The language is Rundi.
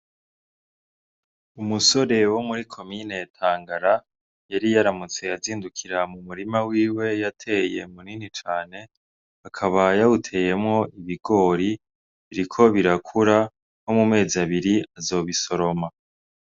Umusore wo muri komine Tangara yari yaramutse azindukira mu murima wiwe yateye minini cane ,akaba yawuteyemwo ibigori, biriko birakura nko mu mezi abiri bazobisoroma.